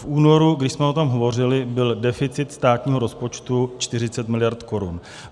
V únoru, když jsme o tom hovořili, byl deficit státního rozpočtu 40 mld. korun.